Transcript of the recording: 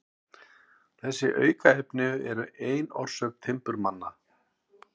Þessi aukaefni eru ein orsök timburmanna.